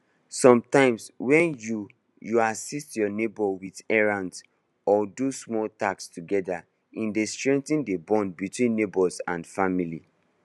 sometimes when you you assist your neighbor with errands or do small tasks together e dey strength the bond between neighbors and family